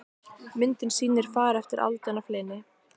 Myndin sýnir far eftir aldin af hlyni.